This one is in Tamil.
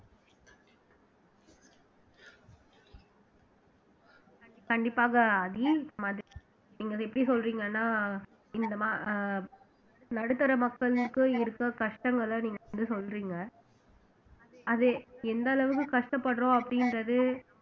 கண்டிப்பாக ஆதி மாதிரி நீங்க அதை எப்படி சொல்றீங்கன்னா அஹ் நடுத்தர மக்களுக்கு இருக்கிற கஷ்டங்களை நீங்க வந்து சொல்றீங்க அது எந்த அளவுக்கு கஷ்டப்படுறோம் அப்படின்றது